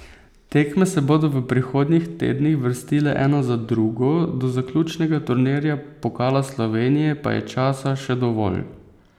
Tekme se bodo v prihodnjih tednih vrstile ena za drugo, do zaključnega turnirja pokala Slovenije pa je časa še dovolj.